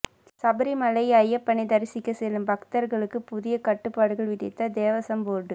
சபரிமலை ஐயப்பனை தரிசிக்க செல்லும் பக்தர்களுக்கு புதிய கட்டுப்பாடுகள் விதித்த தேவசம்போர்டு